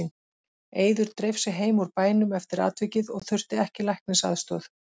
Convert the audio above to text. Eiður dreif sig heim úr bænum eftir atvikið og þurfti ekki læknisaðstoð.